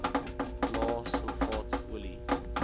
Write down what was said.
lae sulfaat olie